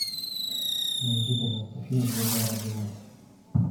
найди пожалуйста фильм звезда родилась